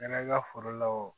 Kɛra i ka foro la o